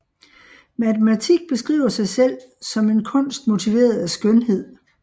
Matematik beskriver sig selv som en kunst motiveret af skønhed